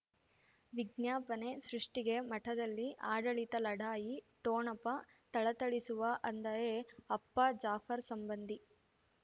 ವಿಜ್ಞಾಪನೆ ಸೃಷ್ಟಿಗೆ ಮಠದಲ್ಲಿ ಆಡಳಿತ ಲಢಾಯಿ ಠೋಣಪ ಥಳಥಳಿಸುವ ಅಂದರೆ ಅಪ್ಪ ಜಾಫರ್ ಸಂಬಂಧಿ